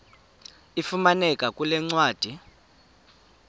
ifumaneka kule ncwadi